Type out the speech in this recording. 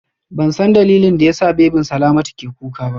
Bansan dalilin da yasa babyn Salamatu ke kuka ba